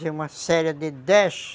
Fazia uma série de dez.